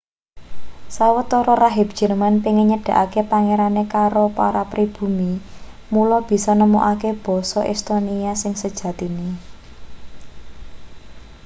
sawetara rahib jerman pengin nyedhakake pangerane karo para pribumi mula bisa nemokake basa estonia sing sejatine